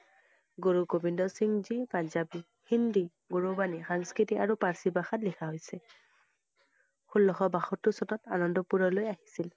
গুৰু গোবিন্দ সিংহ জী পাঞ্জাৱী, হিন্দী, গুৰুবানি, সংস্কৃত আৰু পাৰ্ছী ভাষাত লিখা হৈছে । ষোল্লশ বাসত্তৰ চনত আনন্দপুৰলৈ আহিছিল